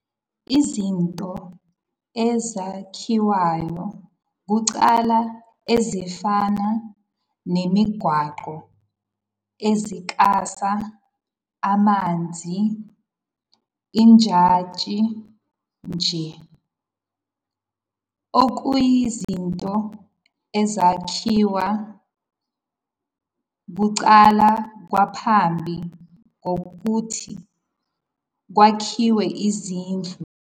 Izinto ezakhiwayo kuqala ezifana nemigwaqo, izinkasa, amanzi, ujantshi njll. okuyizinto ezakhiwa kuqala ngaphambi kokuthi kwakhiwe izindlu, imibijongo, noma isidlidli.